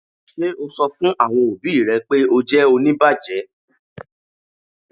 Ṣe o sọ̀ fún awọn ọbì rẹ̀ pe o jẹ́ oníbàjẹ̀?